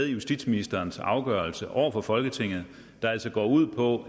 i justitsministerens afgørelse over for folketinget der altså går ud på